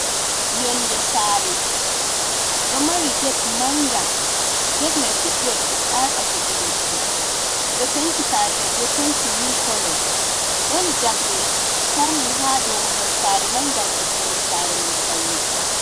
Yonde sare ɗo mari get manga get mai fuɗdi waɗugo satsa hedi leddi ɓeɗo penti sare mai be penti milik kolo ɗon jamɗe ɓe tarni ha dou mahol sare mai ngam ɓeddungo sare mai paune.